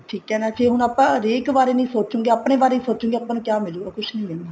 ਠੀਕ ਆ ਜੀ ਹੁਣ ਜੇ ਆਪਾਂ ਹਰੇਕ ਬਾਰੇ ਨੀ ਸੋਚੋਗੇ ਆਪਣੇ ਬਾਰੇ ਹੀ ਸੋਚੋਗੇ ਆਪਾਂ ਨੂੰ ਕਿਆ ਮਿਲੁਗਾ ਕੁੱਛ ਨੀ ਮਿਲਣਾ